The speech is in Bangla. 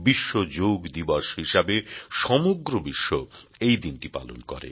বিশ্ব যোগ দিবস হিসেবে সমগ্র বিশ্ব এই দিনটি পালন করে